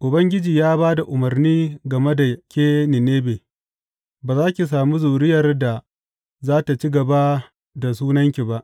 Ubangiji ya ba da umarni game da ke Ninebe, Ba za ki sami zuriyar da za tă ci gaba da sunanki ba.